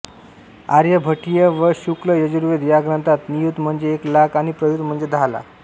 आर्यभटीय व शुक्लयजुर्वेद या ग्रंथांत नियुत म्हणजे एक लाख आणि प्रयुत म्हणजे दहा लाख